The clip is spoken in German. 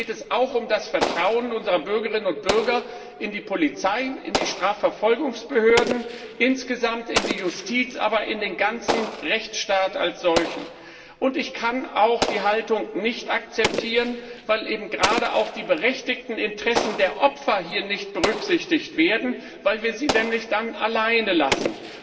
Hierbei geht es auch um das Vertrauen unserer Bürgerinnen und Bürger in die Polizei, in die Strafverfolgungsbehörden insgesamt in die Justiz, in den ganzen Rechtsstaat als solchen. Ich kann die Haltung auch nicht akzeptieren, weil eben gerade auch die berechtigten Interessen der Opfer hier nicht berücksichtigt werden, weil wir sie nämlich dann alleine lassen.